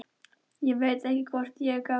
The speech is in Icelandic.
Ég veit ekki hvort ég er gáfuð.